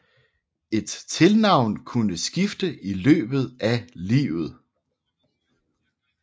Et tilnavn kunne skifte i løbet af livet